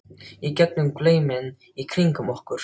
í gegnum glauminn í kringum okkur.